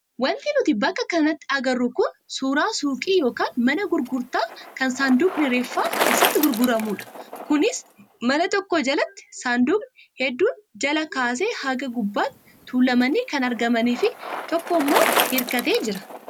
Wanti nuti bakka kanatti agarru kun suuraa suuqii yookaan mana gurgurtaa kan saanduqni reeffaa keessatti gurguramudha. Kunis mana tokko jalatti saanduqni hedduun jalaa kaasee haga gubbaatti tuulamanii kan argamanii fi tokko immoo hirkatee jira.